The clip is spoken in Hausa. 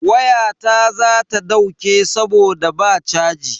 Wayata za ta dauke saboda ba chaji.